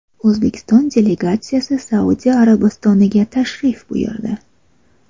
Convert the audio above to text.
O‘zbekiston delegatsiyasi Saudiya Arabistoniga tashrif buyurdi.